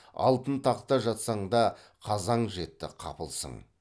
алтын тақта жатсаң да қазаң жетті қапылсың